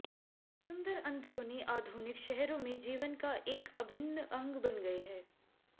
सुंदर अंदरूनी आधुनिक शहरों में जीवन का एक अभिन्न अंग बन गए हैं